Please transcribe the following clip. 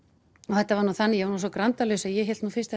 þetta var þannig ég var nú svo grandalaus að ég hélt fyrst